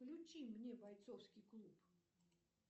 включи мне бойцовский клуб